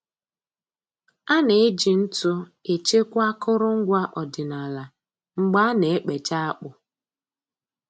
A na-eji ntụ echekwa akụrụngwa ọdịnaala mgbe a na-ekpecha akpụ